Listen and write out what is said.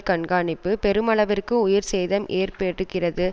கண்காணிப்பு பெருமளவிற்கு உயிர் சேதம் ஏற்பட்டிருப்பது